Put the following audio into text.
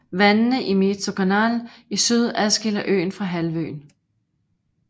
Vandene i Mezokanal i syd adskiller øen fra halvøen